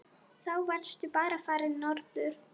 Þá varstu bara farinn norður.